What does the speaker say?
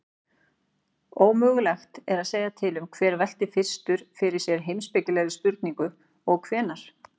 Ómögulegt er að segja til um hver velti fyrstur fyrir sér heimspekilegri spurningu og hvenær.